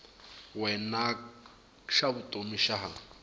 wena xa vutomi xa ha